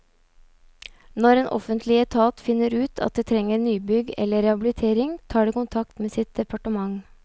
Når en offentlig etat finner ut at det trenger nybygg eller rehabilitering, tar det kontakt med sitt departement.